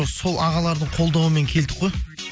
сол ағалардың қолдауымен келдік қой